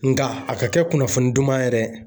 Nka a ka kɛ kunnafoni duman ye dɛ